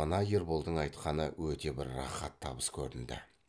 мына ерболдың айтқаны өте бір рақат табыс көрінді